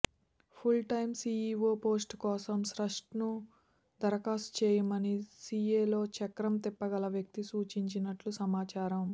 full time CEO post కోసం స్ట్రాస్ను దరఖాస్తు చేయమని సీఏలో చక్రం తిప్పగల వ్యక్తి సూచించినట్టు సమాచారం